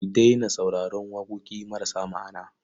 Ki daina sauraron waƙoƙi marasa ma'ana.